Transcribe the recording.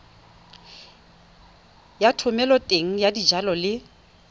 ya thomeloteng ya dijalo le